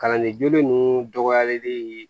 Kalanden jolen ninnu dɔgɔyalen